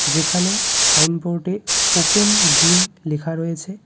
যেখানে সাইনবোর্ডে open gym লেখা রয়েছে.